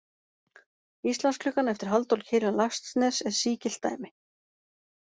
Íslandsklukkan eftir Halldór Kiljan Laxness er sígilt dæmi.